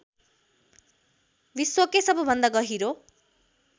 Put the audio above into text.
विश्वकै सबभन्दा गहिरो